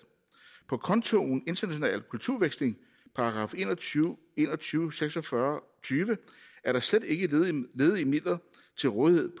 på kontoen international kulturudveksling § en og tyve en og tyve 46 tyve er der slet ikke ledige midler til rådighed